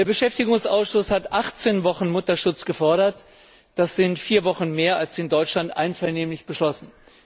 Der Beschäftigungsausschuss hat 18 Wochen Mutterschutz gefordert, das sind 4 Wochen mehr als in Deutschland einvernehmlich beschlossen.